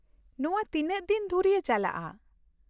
ᱱᱚᱶᱟ ᱛᱤᱱᱟᱹᱜ ᱫᱤᱱ ᱫᱷᱩᱨᱭᱟᱹ ᱪᱟᱞᱟᱜᱼᱟ ?